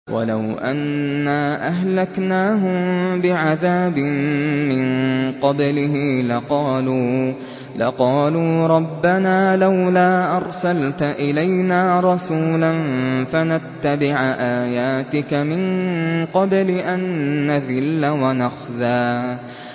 وَلَوْ أَنَّا أَهْلَكْنَاهُم بِعَذَابٍ مِّن قَبْلِهِ لَقَالُوا رَبَّنَا لَوْلَا أَرْسَلْتَ إِلَيْنَا رَسُولًا فَنَتَّبِعَ آيَاتِكَ مِن قَبْلِ أَن نَّذِلَّ وَنَخْزَىٰ